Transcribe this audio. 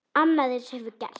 Annað eins hefur gerst.